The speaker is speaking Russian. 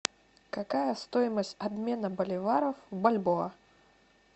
какая стоимость обмена боливаров в бальбоа